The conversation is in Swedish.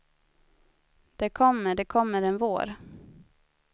Det kommer, det kommer en vår.